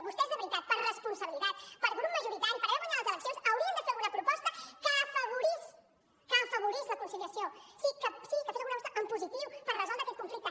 vostès de veritat per responsabilitat per grup majoritari per haver guanyat les eleccions haurien de fer alguna proposta que afavorís que afavorís la conciliació sí que fes alguna proposta en positiu per resoldre aquest conflicte